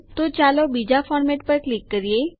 તો ચાલો બીજા ફોર્મેટ પર ક્લિક કરીએ